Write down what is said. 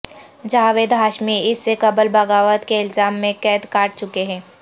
جاوید ہاشمی اس سے قبل بغاوت کے الزام میں قید کاٹ چکے ہیں